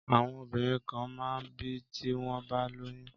Àwọn obìnrin kan máa n bì tí wọ́n bá lóyún